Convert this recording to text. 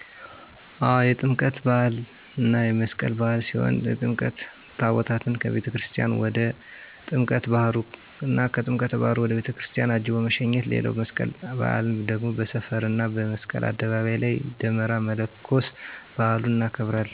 አው የጥምቀት በሃል እና የመስቀል በዓል ሲሆን የጥምቀት ታቦታትን አቤተክርስትያን ወደ ጥምቀት ባህሩ እና ከጥምቀተ ባህሩ ወደ ቤተክርስቲያን አጅቦ መሸኘት ሌላዉ የመስቀል በአል ደግሞ በሰፈር እና መስቀል አደባባይ ላይ ደመራ መለኮስ በአሉን እናከብራለን።